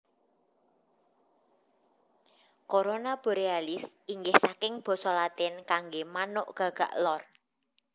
Corona Borealis inggih saking basa Latin kanggé manuk gagak lor